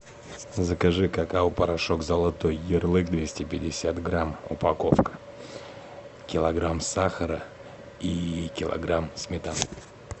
закажи какао порошок золотой ярлык двести пятьдесят грамм упаковка килограмм сахара и килограмм сметаны